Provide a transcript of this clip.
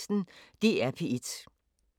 DR P1